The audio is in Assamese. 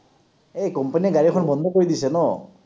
এই company য়ে গাড়ীখন বন্ধ কৰি দিছে ন?